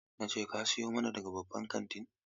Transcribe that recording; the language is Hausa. Na ce ka siyo nama daga babban kantin!